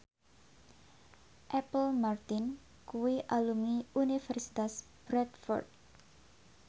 Apple Martin kuwi alumni Universitas Bradford